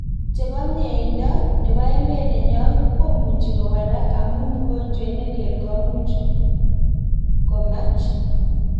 Chebo mnyeindoo nebo emet nenyoo kumuji kowalak, amu mugojwet nelel komuj komak.